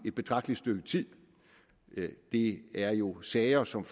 et betragteligt stykke tid det er jo sager som